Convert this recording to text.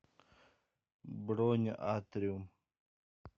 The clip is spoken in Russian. бронь атриум